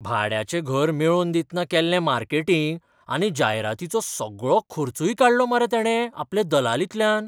भाड्याचें घर मेळोवन दितना केल्लें मार्केटिंग आनी जायरातीचो सगळो खर्चूय काडलो मरे तेणे आपले दलालींतल्यान!